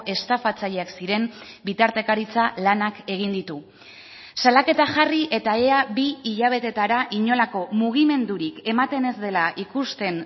estafatzaileak ziren bitartekaritza lanak egin ditu salaketa jarri eta ea bi hilabetetara inolako mugimendurik ematen ez dela ikusten